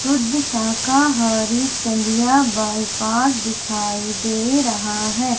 शुद्ध शाकाहारी चंदिया बाईपास दिखाई दे रहा है।